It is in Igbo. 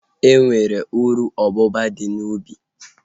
E nwere uru ububa dị n'ubi